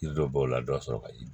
Yiri dɔ b'o la dɔ sɔrɔ ka yi